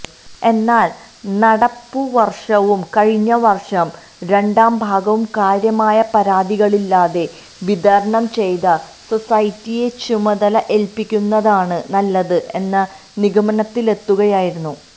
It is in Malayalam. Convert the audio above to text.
എന്നാൽ നടപ്പുവർഷവും കഴിഞ്ഞവർഷം രണ്ടാം ഭാഗവും കാര്യമായ പരാതികളില്ലാതെ വിതരണം ചെയ്ത സൊസൈറ്റിയെ ചുമതല ഏൽപ്പിക്കുന്നതാണ് നല്ലത് എന്ന നിഗമനത്തിലെത്തുകയായിരുന്നു